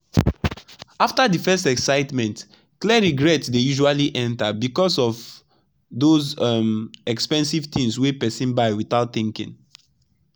after the first excitement clear regret dey usually enter because of those um expensive things wey person buy without thinking.